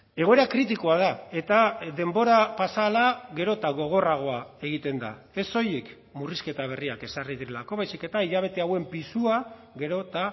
egoera kritikoa da eta denbora pasa ahala gero eta gogorragoa egiten da ez soilik murrizketa berriak ezarri direlako baizik eta hilabete hauen pisua gero eta